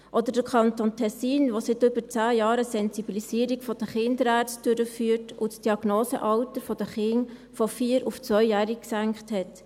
Oder der Kanton Tessin, der seit über zehn Jahren eine Sensibilisierung der Kinderärzte durchführt und das Diagnosealter der Kinder von 4- auf 2-jährig gesenkt hat.